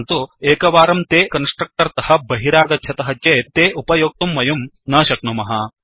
परन्तु एकवारं ते कन्स्ट्रक्टर् तः बहिरागच्छतः चेत् ते अपयोक्तुं वयं न शक्नुमः